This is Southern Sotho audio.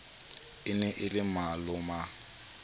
e ne e le maloma